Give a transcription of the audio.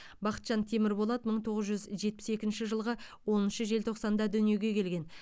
бақытжан темірболат мың тоғыз жүз жетпіс екінші жылғы оныншы желтоқсанда дүниеге келген